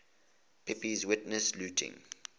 pepys witnessed looting